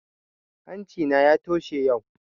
Hanci na ya toshe yau